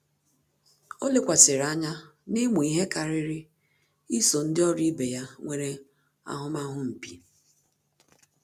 Ọ́ lékwàsị̀rị̀ ányá n’ị́mụ́ ihe kàrị́rị́ ísò ndị ọ́rụ́ ibe ya nwere ahụ́mahụ mpi.